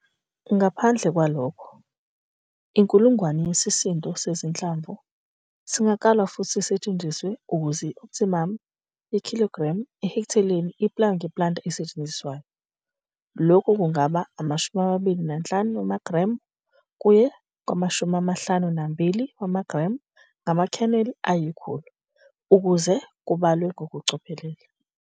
Ngaphandle kwalokho, i-1 000 yesisindo sezinhlamvu sezinhlamvu singakalwa futhi sisetshenziswe ukuze i-opthimumu ye-kg i-ha iplaywe nge-planter esetshenziswayo. Lokhu kungaba u-25 wamagremu kuye ku-52 wamagremu ngama-kernel ayi-100, ukuze kubalwe ngokucophelela.